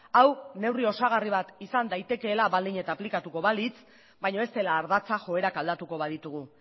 hau neurri osagarri bat izan daitekeela baldin eta aplikatuko balitz baina ez dela ardatza joerak aldatuko baditugu